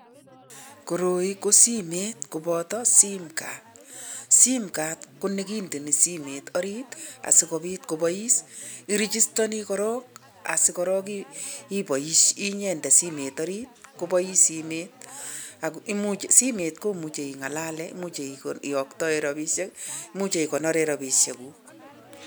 Koroi ko simet kobota simcard simcard ko nekindeni simet oritasikobit kobois. Irigistani kora ak asikoraak nyende simet orit kobois. Simet ak simet imuche ing'alale much iyoktae robishek imuch ikonoree robishekuk.